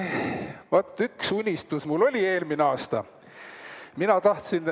Vaat, üks unistus mul oli eelmine aasta.